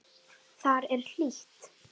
Þar er hlýtt.